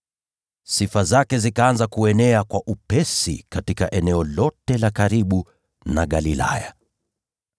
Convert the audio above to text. Sifa zake zikaanza kuenea haraka katika eneo lote la karibu na Galilaya.